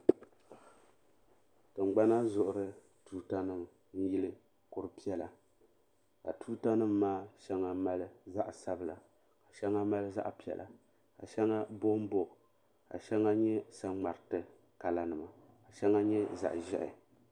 Tingbana zuɣuri tuuta nima n yili kuri piɛlla ka tuuta nima maa shɛŋa mali zaɣa sabla shɛŋa mali zaɣa piɛla ka shɛŋa bombo ka shɛŋa nyɛ saŋmariti kala nima shɛŋa nyɛ zaɣa ʒehi.